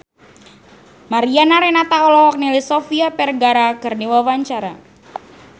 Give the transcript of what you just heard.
Mariana Renata olohok ningali Sofia Vergara keur diwawancara